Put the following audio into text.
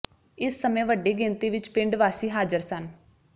ਇਸ ਸਮੇਂ ਵੱਡੀ ਗਿਣਤੀ ਵਿਚ ਪਿੰਡ ਵਾਸੀ ਹਾਜ਼ਰ ਸਨ